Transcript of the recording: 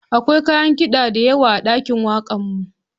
Akwai kayan kida da yawa a ɗakin wakarmu.